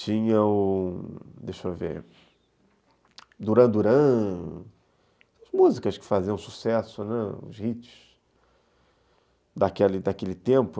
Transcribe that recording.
tinha o, deixa eu ver, Duran Duran, músicas que faziam sucesso, né, os hits daquela daquele tempo.